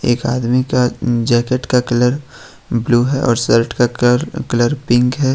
एक आदमी का जैकेट का कलर ब्लू है और शर्ट का कर का कलर पिंक है।